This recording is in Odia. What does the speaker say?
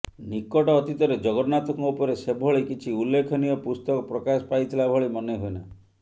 ନିକଟ ଅତୀତରେ ଜଗନ୍ନାଥଙ୍କ ଉପରେ ସେଭଳି କିଛି ଉଲ୍ଲେଖନୀୟ ପୁସ୍ତକ ପ୍ରକାଶ ପାଇଥିଲା ଭଳି ମନେ ହୁଏନା